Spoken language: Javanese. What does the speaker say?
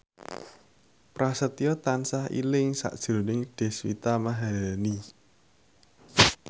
Prasetyo tansah eling sakjroning Deswita Maharani